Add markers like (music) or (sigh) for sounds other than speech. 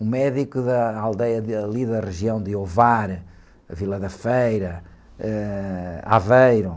um médico da aldeia ali da região de, (unintelligible) Vila da Feira, ãh, Aveiro.